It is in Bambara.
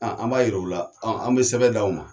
An b' a jira u la, an bɛ sɛbɛn d'aw ma.